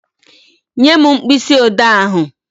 Nye m mkpịsị odee ahụ.